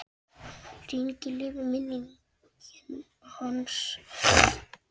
Lengi lifi minning hans.